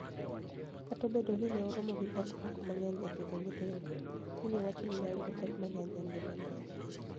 Kata obedo nii ni e oromo gi pek moko manig'eniy e pidho niyithinido, Wininiie wacho nii ni e oyudo pek manig'eniy e nigimani e.